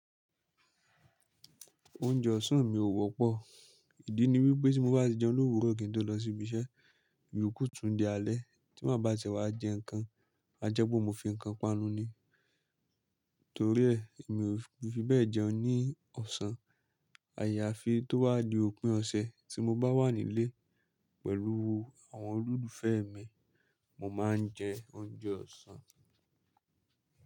Oúnjẹ ọ̀sán mi ò wọ́pọ̀. Ìdí ni wípé tí mo bá ti jẹun lówuro kin tó lọ sí ibi iṣẹ́, ìyokú tún di alẹ́ tí maa bá siẹ̀ wá jẹ ǹkan, a jẹ́ pe mo fi ǹkan panu ni. Torí ẹ́, mi ò fi bẹ́ẹ̀ jẹun ní ọ̀sán. Àyàfi tó ba wá di òpin ọ̀sẹ̀ tí mo bá wà nílé pẹ̀lú àwọn olólùfẹ́ mi, mo máa ń jẹ oúnjẹ ọ̀sán.